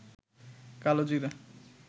কালো জিরা